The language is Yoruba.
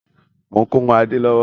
Mo ń kó irun Adé lọ́wọ́